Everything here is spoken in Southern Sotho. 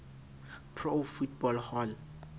pro football hall